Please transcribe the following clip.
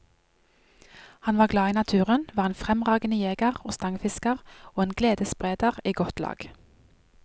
Han var glad i naturen, var en fremragende jeger og stangfisker og en gledesspreder i godt lag.